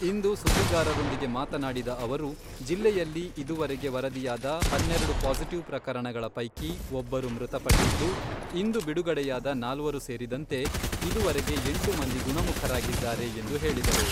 ಇಂದು ಸುದ್ದಿಗಾರರೊಂದಿಗೆ ಮಾತನಾಡಿದ ಅವರು , ಜಿಲ್ಲೆಯಲ್ಲಿ ಇದುವರೆಗೆ ವರದಿಯಾದ ಹನ್ನೆರೆಡು ಪಾಸಿಟಿವ್ ಪ್ರಕರಣಗಳ ಪೈಕಿ ಒಬ್ಬರು ಮೃತಪಟ್ಟಿದ್ದು, ಇಂದು ಬಿಡುಗಡೆಯಾದ ನಾಲ್ವರು ಸೇರಿದಂತೆ ಇದುವರೆಗೆ ಎಂಟು ಮಂದಿ ಗುಣಮುಖರಾಗಿದ್ದಾರೆ ಎಂದು ಹೇಳಿದರು.